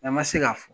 An ma se k'a fɔ